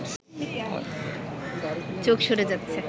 চোখ সরে যাচ্ছে